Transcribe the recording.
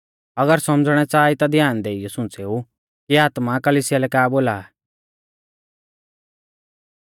अगर सौमझ़णै च़ाहा ई ता ध्यान देइयौ सुंच़ेऊ कि आत्मा कलिसिया लै का बोला आ